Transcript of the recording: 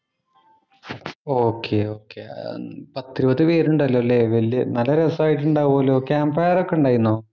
Okay okay ഏർ പത്തിരുപത് പേരുണ്ടല്ലോ ഇല്ലേ. വല്യ നല്ല രസമുണ്ടായിട്ടുണ്ടാവൂലോ. ക്യാംമ്പ് ഫയര്‍ ഒക്കെ ഉണ്ടായിന്നോ?